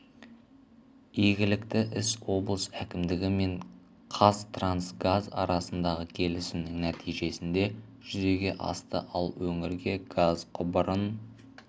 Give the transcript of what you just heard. игілікті іс облыс әкімдігі мен қазтрансгаз арасындағы келісімнің нәтижесінде жүзеге асты ал өңірге газ құбырын